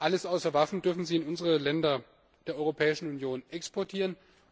Alles außer Waffen dürfen sie in die Länder der Europäischen Union exportieren.